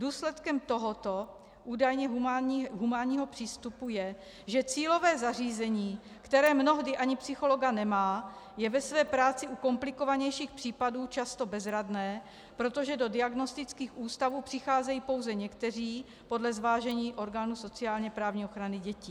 Důsledkem tohoto údajně humánního přístupu je, že cílové zařízení, které mnohdy ani psychologa nemá, je ve své práci u komplikovanějších případů často bezradné, protože do diagnostických ústavů přicházejí pouze někteří podle zvážení orgánů sociálně-právní ochrany dětí.